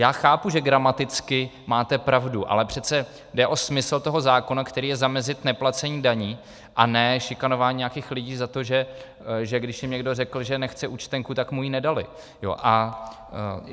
Já chápu, že gramaticky máte pravdu, ale přece jde o smysl toho zákona, kterým je zamezit neplacení daní a ne šikanování nějakých lidí za to, že když jim někdo řekl, že nechce účtenku, tak mu ji nedali.